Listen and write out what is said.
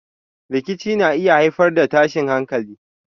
Rikici na iya haifar da tashin hankalin.